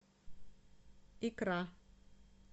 икра